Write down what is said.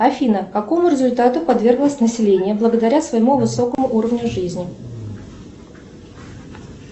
афина какому результату подверглось население благодаря своему высокому уровню жизни